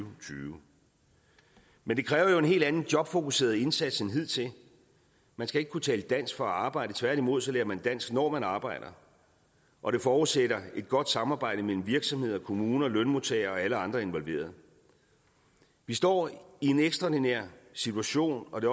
og tyve men det kræver jo en helt anden jobfokuseret indsats end hidtil man skal ikke kunne tale dansk for at arbejde tværtimod lærer man dansk når man arbejder og det forudsætter et godt samarbejde mellem virksomheder kommuner lønmodtagere og alle andre involverede vi står i en ekstraordinær situation og det